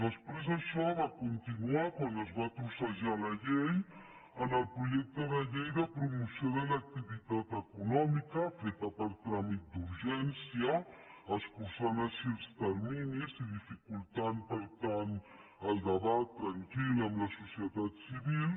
després d’això va continuar quan es va trossejar la llei en el projecte de llei de promoció de l’activitat econòmica feta per tràmit d’urgència escurçant així els terminis i dificultant per tant el debat tranquil amb la societat civil